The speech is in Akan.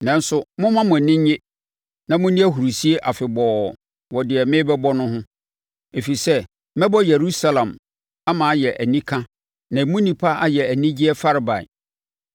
Nanso momma mo ani nnye na monni ahurisie afebɔɔ wɔ deɛ merebɛbɔ ho, ɛfiri sɛ mɛbɔ Yerusalem ama ayɛ anika na emu nnipa ayɛ anigyeɛ farebae.